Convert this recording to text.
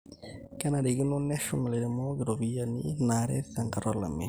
kenarikino neshum ilairemok irropiani naaret tenkata olameyu